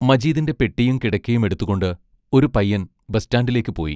മജീദിന്റെ പെട്ടിയും കിടക്കയും എടുത്തുകൊണ്ട് ഒരു പയ്യൻ ബസ്റ്റാൻഡിലേക്ക് പോയി.